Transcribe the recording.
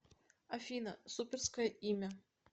афина суперское имя